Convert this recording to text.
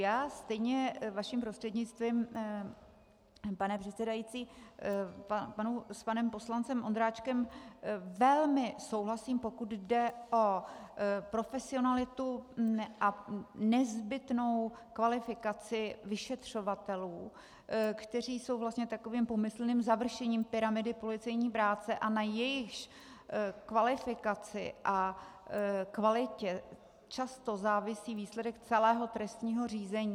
Já stejně vaším prostřednictvím, pane předsedající, s panem poslancem Ondráčkem velmi souhlasím, pokud jde o profesionalitu a nezbytnou kvalifikaci vyšetřovatelů, kteří jsou vlastně takovým pomyslným završením pyramidy policejní práce a na jejichž kvalifikaci a kvalitě často závisí výsledek celého trestního řízení.